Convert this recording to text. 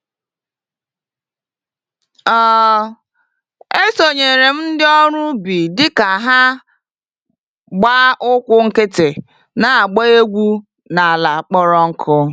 um Esonyere m ndị ọrụ ubi dịka ha gbá ụkwụ nkịtị na-agba egwu n'ala kpọrọ nkụ.